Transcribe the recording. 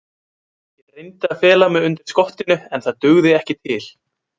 Ég reyndi að fela mig undir skottinu en það dugði ekki til.